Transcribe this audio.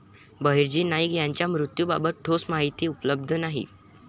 बहिर्जी नाईक यांच्या मृत्यूबाबत ठोस माहिती उपलब्ध नाही